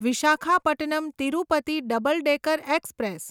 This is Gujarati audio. Visakhapatnam Tirupati double decker express